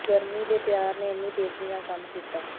ਗਰਮੀ ਦੇ ਪਿਆਰ ਨੇ ਇੰਨੀ ਤੇਜ਼ੀ ਨਾਲ ਕੰਮ ਕੀਤਾ